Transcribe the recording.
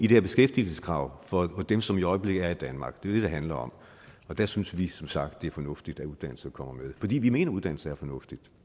her beskæftigelseskrav for dem som i øjeblikket er i danmark det er det det handler om og der synes vi som sagt det er fornuftigt at uddannelse kommer med fordi vi mener at uddannelse er fornuftigt